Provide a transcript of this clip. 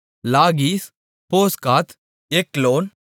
லாகீஸ் போஸ்காத் எக்லோன்